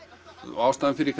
ástæðan fyrir